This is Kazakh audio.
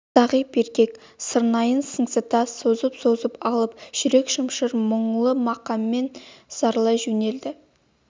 зағип еркек сырнайын сыңсыта созып-созып алып жүрек шымшыр мұңлы мақаммен зарлай жөнелді